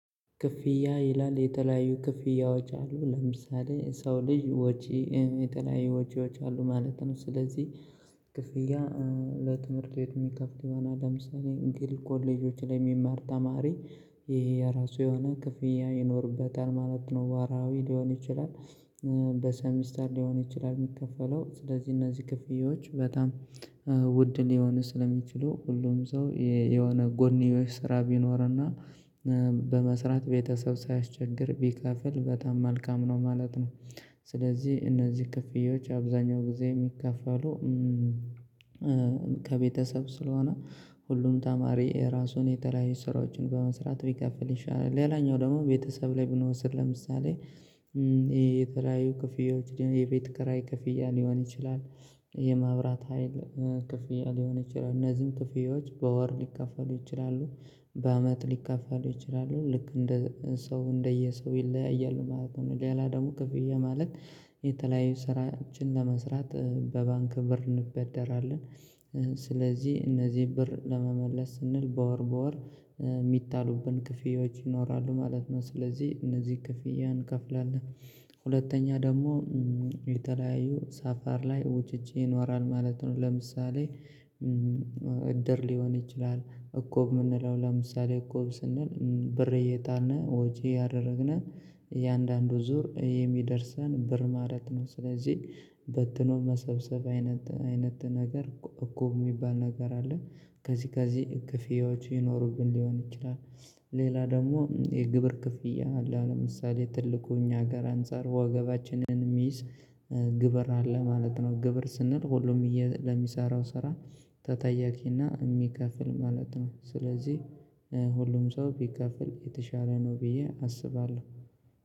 ክፍያ ይላል የተለያዩ ክፍያዎች አሉ ለምሳሌ ሰው ልጅ ወጪ የተለያዩ ወጪዎች አሉ ማለት ነው። ስለዚህ ክፍያ ለትምህርት ቤት የሚከፍት ይሆናል ለምሳሌ ግል ኮሌጆች ላይ የሚማር ተማሪ ይሄ የራሱ የሆነ ክፍያ ይኖርበታል ማለት ነው ወራዊ ሊሆን ይችላል። በሰሚስተር ሊሆን ይችላል ሚከፈለው ስለዚህ እነዚህ ክፍያዎች በጣም ውድ ሊሆን ስለሚችሉ ሁሉም ሰው የሆነ ጎንዩሽ ስራ ቢኖርና በመስራት ቤተሰብ ሳያስቸግር ቢከፍል በጣም መልካም ነው ማለት ነው። ስለዚህ እነዚህ ክፍያዎች አብዛኛው ጊዜ የሚከፈሉ ከቤተሰብ ስለሆነ ሁሉም ተማሪ ራሱን የተለያየ ስራዎችን በመስራት ቢከፍል ይሻላል። ሌላኛው ደግሞ ቤተሰብ ላይ ብንወስድ ለምሳሌ የተለያዩ ክፍያዎች የቤት ከራይ ክፍያ ሊሆን ይችላል። የማብራት ሀይል ክፍያ ሊሆን ይችላል እነዚህም ክፍያዎች በወር ሊከፋሉ ይችላሉ በአመት ሊከፋሉ ይችላሉ ልክ እንደ ሰው እንደየ ሰው ይለያያሉ ማለት ነው። ሌላ ደግሞ ክፍያ ማለት የተለያዩ ስራዎችን ለመስራት በባንክ ብር እንበደራለን ስለዚህ እነዚህ ብር ለመመለስ ስንል በወር በወር ሚጣሉብን ክፍያዎች ይኖራሉ ማለት ነው። ስለዚህ እነዚህ ክፍያን እንከፍላለን ሁለተኛ ደግሞ የተለያዩ ሳፋር ላይ ወጪ ይኖራል ማለት ነው። ለምሳሌ እድር ሊሆን ይችላል እቁብ ምንለው ለምሳሌ እቁብ ስንል ብሬ እየጣልን ወጭ ያደረግናል የአንዳንዱ ዙር የሚደርሰን ብር ማለት ነው። ስለዚህ በትኖ መሰብሰብ አይነት አይነት ነገር እቆብ ሚባል ነገር አለ። ከዚህ ከዚህ ክፍያዎች ይኖሩብን ሊሆን ይችላል። ሌላ ደግሞ የግብር ክፍያ ለምሳሌ ትልቁ እኛ ጋር አንፃር ወገባችንን ሚዝ ግብር አለ ማለት ነው። ግብር ስንል ሁሉም ሚሰራው ስራ ተጠያቂና ሚከፍል ማለት ነው። ስለዚህ ሁሉም ሰው ቢከፍል የተሻለ ነው ብዬ አስባለሁ።